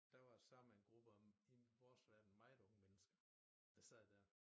Der var sørme en gruppe af i vores verden meget unge mennesker der sad dér